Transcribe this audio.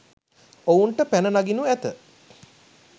ඔවුනට පැන නගිනු ඇත